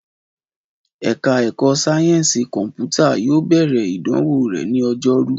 Ẹ̀ka ẹ̀kọ́ sáyẹ́ǹsì kọ̀mpútà yóò bẹ̀rẹ̀ ìdánwò rẹ̀ ní Ọjọ́rú